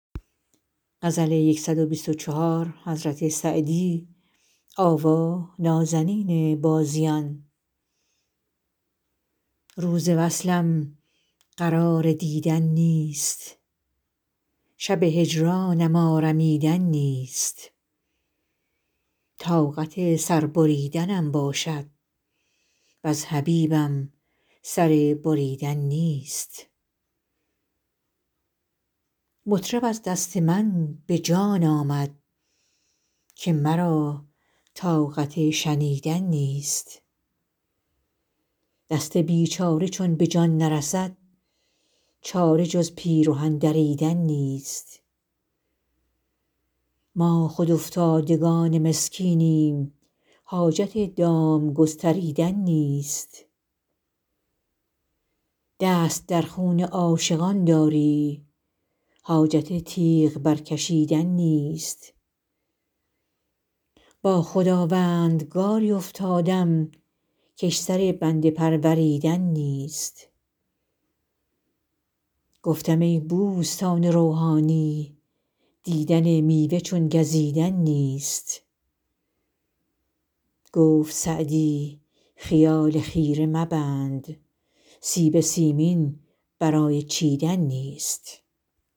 روز وصلم قرار دیدن نیست شب هجرانم آرمیدن نیست طاقت سر بریدنم باشد وز حبیبم سر بریدن نیست مطرب از دست من به جان آمد که مرا طاقت شنیدن نیست دست بیچاره چون به جان نرسد چاره جز پیرهن دریدن نیست ما خود افتادگان مسکینیم حاجت دام گستریدن نیست دست در خون عاشقان داری حاجت تیغ برکشیدن نیست با خداوندگاری افتادم کش سر بنده پروریدن نیست گفتم ای بوستان روحانی دیدن میوه چون گزیدن نیست گفت سعدی خیال خیره مبند سیب سیمین برای چیدن نیست